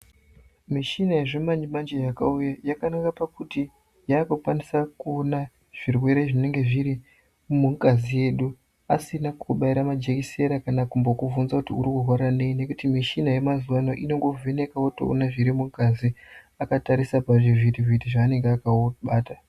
Muchina yezviimanje manje yakauya yakanaka pakuti yakukwanisa kuona zvirwere zviri nungazi yedu asina kubaira majekisera kana kumbokuvhunza kuti uri kurwara ngei nekuti muchini yemazuwa ano unongovheneka wotoona zviri mungazi akatarisa pazvivhiti vhiti pavanenge vakabata.